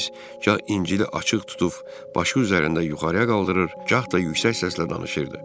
Vaiz gah İncili açıq tutub başı üzərində yuxarıya qaldırır, gah da yüksək səslə danışırdı.